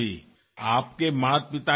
আপুনি কি হয় আপুনি নিজেই নাজানে